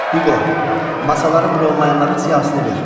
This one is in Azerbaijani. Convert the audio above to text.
Hüqo, masaları bronlayanların siyahısını ver.